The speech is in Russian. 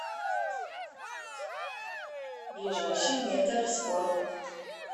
ближайший метар спорт